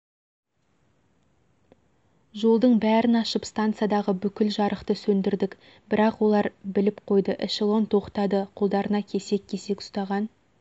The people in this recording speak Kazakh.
жолдың бәрін ашып стансадағы бүкіл жарықты сөндірдік бірақ олар біліп қойды эшелон тоқтады қолдарына кесек-кесек ұстаған